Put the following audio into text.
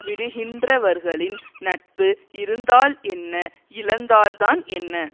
விடுகின்றவர்களின் நட்பு இருந்தால் என்ன இழந்தால்தான் என்ன